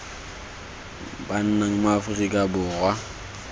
ba nnang mo aforika borwa